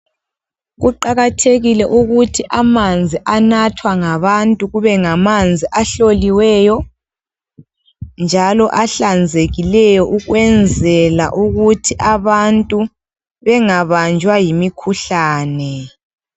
Kuqakathekile ukuthi amanzi anathwa ngabantu kube ngamanzi ahloliweyo njalo ahlanzekileyo ukwenzela ukuthi abantu bengabanjwa yimikhuhlane.